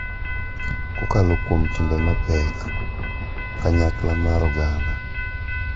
Kokalo kuom timbe mapek, kanyakla mar oganda,